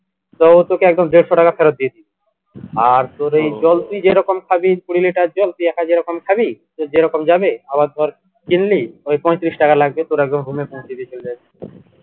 তো ও তোকে একদম দেড়শো টাকা ফেরত দিয়ে দিবে আর তোর এই জল তুই যেরকম খাবি কুড়ি litre জল তুই একা যেরকম খাবি তোর যেরকম যাবে আবার ধর কিনলি ওই পঁয়ত্রিশ টাকা লাগবে তোর একদম home এ পৌঁছে দিয়ে চলে যাবে